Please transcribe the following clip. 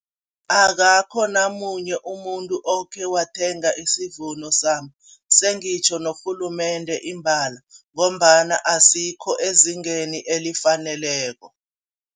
Akakho namunye umuntu okhe wathenga isivuno sami, sengitjho norhulumende imbala ngombana asikho ezingeni elifaneleko.